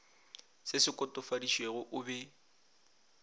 se se kotofaditšwego o be